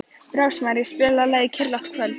Rósmary, spilaðu lagið „Kyrrlátt kvöld“.